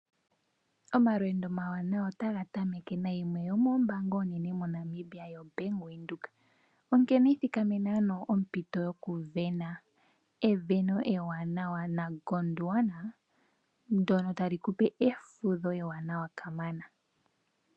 Omalweendo omawanawa otaga tameke nayimwe yomoombanga oonene moNamibia yombaanga yaWindhoek, onkene ithikamena ano ompito yoku sindana. Esindano ewanawa naGondwana ndyono tali kupe efudho eewanawa kamana.